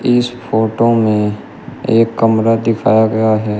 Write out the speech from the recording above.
इस फोटो में एक कमरा दिखाया गया है।